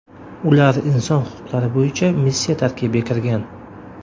Ular inson huquqlari bo‘yicha missiya tarkibiga kirgan.